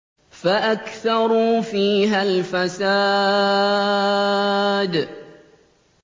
فَأَكْثَرُوا فِيهَا الْفَسَادَ